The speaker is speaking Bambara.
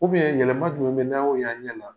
yɛlɛma jumɛn bɛ yen n'an y'o ye an ɲɛna?